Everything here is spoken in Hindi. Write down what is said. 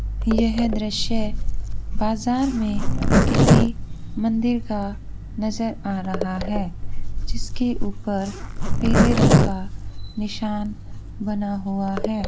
यह दृश्य बाजार मे किसी मंदिर का नजर आ रहा हे जिसके ऊपर पीले रंग का निशान बना हुआ है।